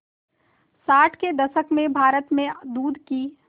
साठ के दशक में भारत में दूध की